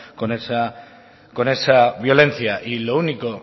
con esa violencia y lo único